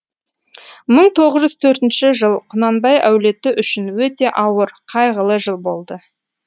мың тоғыз жүз төртінші жыл құнанбай әулеті үшін өте ауыр қайғылы жыл болды